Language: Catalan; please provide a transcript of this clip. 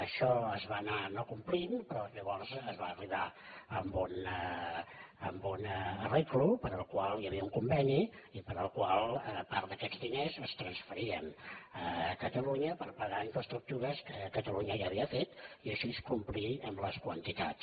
això es va anar no complint però llavors es va arribar a un arranjament pel qual hi havia un conveni i pel qual part d’aquests diners es transferien a catalunya per pagar infraestructures que catalunya ja havia fet i així complir les quantitats